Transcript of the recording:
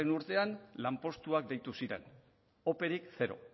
urtean lanpostuak deitu ziren operik zero